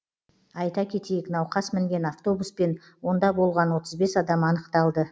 айта кетейік науқас мінген автобус пен онда болған отыз бес адам анықталды